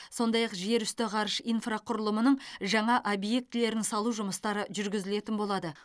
сондай ақ жерүсті ғарыш инфрақұрылымының жаңа объектілерін салу жұмыстары жүргізілетін болады